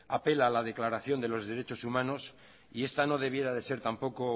apela a la declaración de los derechos humanos y esta no debiera de ser tampoco